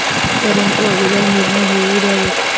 परंतू अगोदर निर्णय होऊ द्यावेत.